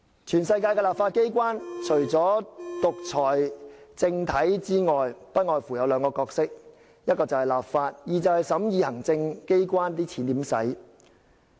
全世界的立法機關，除了獨裁政體外，不外乎只有兩個角色，一是立法，二是審議行政機關如何使用公帑。